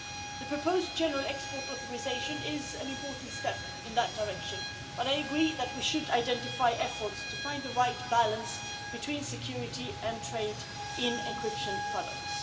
The proposed general export authorisation is an important step in that direction, but I agree that we should identify efforts to find the right balance between security and trade in encryption products.